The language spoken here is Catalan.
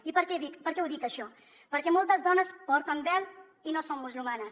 i per què ho dic això perquè moltes dones porten vel i no són musulmanes